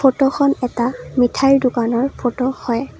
Photo খন এটা মিঠাইৰ দোকানৰ ফটো হয়।